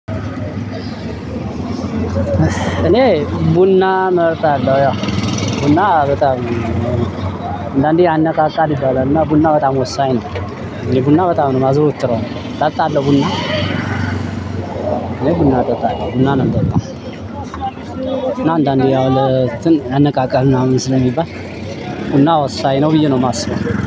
እኔ ቡና እመርጣለሁ ያው ቡና በጣም አንዳንደየ ያነቃቃል ይባላል። እና ቡና በጣም ወሳኝ ነው የቡና በጣም ነው የማዘወትረው እጣጣለሁ። ቡና ቡና ጠጣለሁ ቡና ነው የምጠጣው። አንዳንዴ ያው ለእንትን ያነቃቃል ምናምን ስለሚባል ቡና ወሳኝ ነው ብዬ ነው የማስበው